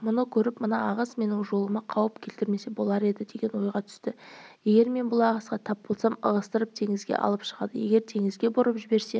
мұны көріп мына ағыс менің жолыма қауіп келтірмесе болар еді деген ой түсті егер мен бұл ағысқа тап болсам ығыстырып теңізге алып шығады егер теңізге бұрып жіберсе